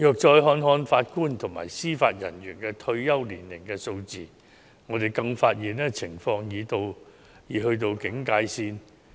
再看看法官及司法人員的退休年齡數字，我們更發現情況已到警戒線。